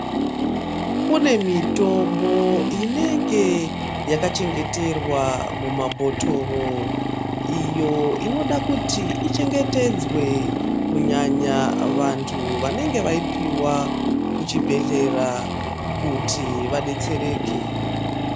Kune mitombo inenge yakachengeterwa mumabhotoro, iyo inoda kuti ichengetedzwe, kunyanya vantu vanenge vaipiwa kuchibhedhlera kuti vadetsereke.